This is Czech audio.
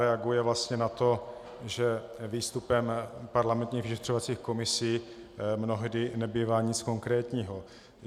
Reaguje vlastně na to, že výstupem parlamentních vyšetřovacích komisí mnohdy nebývá nic konkrétního.